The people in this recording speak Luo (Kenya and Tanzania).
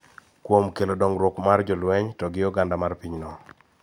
Kuom kelo dongruok mar jolweny to gi oganda mar pinyno